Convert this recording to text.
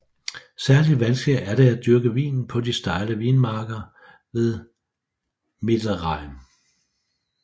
Særligt vanskeligt er det at dyrke vinen på de stejle vinmarker ved Mittelrhein